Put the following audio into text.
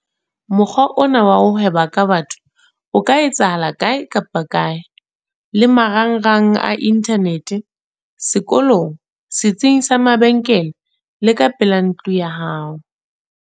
Mokgwa ona wa ho hweba ka batho o ka etsahala kae kapa kae - le marangrang a inthanete, sekolong, setsing sa mabenkele le ka pela ntlo ya hao.